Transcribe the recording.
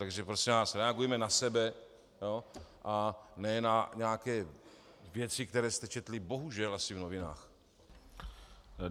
Takže prosím vás, reagujme na sebe a ne na nějaké věci, které jste četli bohužel asi v novinách.